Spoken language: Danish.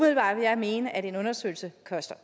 jeg mene at en undersøgelse